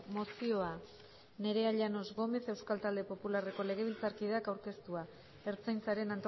mozioa nerea llanos gómez euskal talde popularreko legebiltzarkideak aurkeztua ertzaintzaren